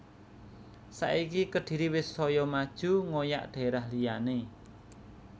Saiki Kediri wis soyo maju ngoyak daerah liyane